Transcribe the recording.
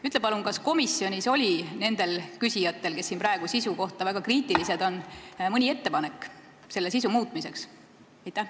Ütle palun, kas komisjonis oli nendel küsijatel, kes siin praegu sisu väga kritiseerivad, olnud mõni ettepanek eelnõu muutmiseks!